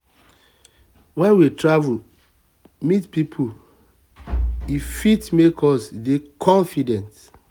when we travel meet pipo um e um fit make us um dey confident